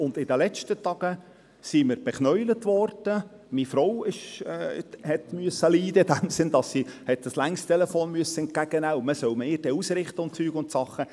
Und in den letzten Tagen wurden wir bekniet – meine Frau musste leiden in diesem Sinn, dass sie einen langen Telefonanruf entgegennehmen musste, und man solle mir dann ausrichten und so weiter.